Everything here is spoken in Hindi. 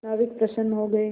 नाविक प्रसन्न हो गए